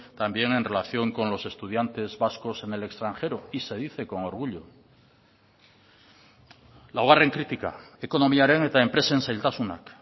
también en relación con los estudiantes vascos en el extranjero y se dice con orgullo laugarren kritika ekonomiaren eta enpresen zailtasunak